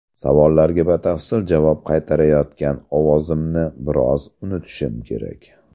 Savollarga batafsil javob qaytarayotgan ovozimni biroz unutishim kerak.